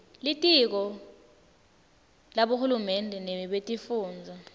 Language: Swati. litiko labohulumende betifundza